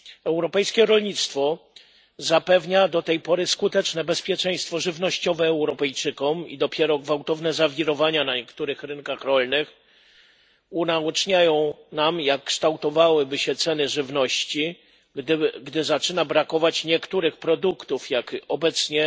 Europejskie rolnictwo zapewnia do tej pory skuteczne bezpieczeństwo żywnościowe Europejczykom, i dopiero gwałtowne zawirowania na niektórych rynkach rolnych unaoczniają nam, jak kształtują się ceny żywności, gdy zaczyna brakować niektórych produktów, jak obecnie